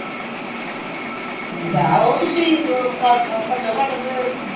ਲੈ ਆਓ ਉਹ ਤੁਸੀਂ ਘੱਟੋ ਘੱਟ ਤੇ